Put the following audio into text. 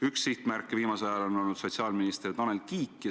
Üks sihtmärke on viimasel ajal olnud sotsiaalminister Tanel Kiik.